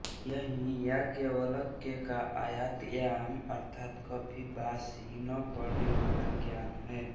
यही याज्ञवल्क्य का अयातयाम अर्थात् कभी बासी न पड़नेवाला ज्ञान है